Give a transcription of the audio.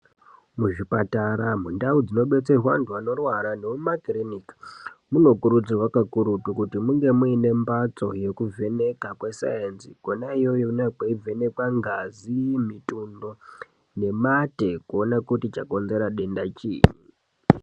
Muzvipatara mundau dzinobetserwa andu anorwara nemumakiriniki munokurudzirwa kakurutu kuti munge mune mbatso yekuvheneka kwesainzi kona iyoyo kune kweivhenekwa ngazi mitundo nemate kuona kuti chakonzera denda chini.